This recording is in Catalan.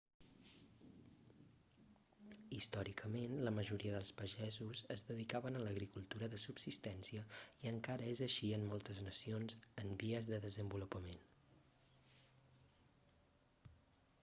històricament la majoria dels pagesos es dedicaven a l'agricultura de subsistència i encara és així en moltes nacions en vies de desenvolupament